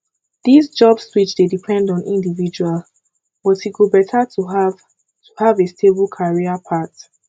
dis job switch dey depend on individual but e go better to have to have a stable career path